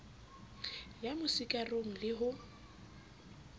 ya mo sikarong le ho